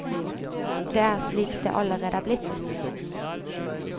Det er slik det allerede er blitt.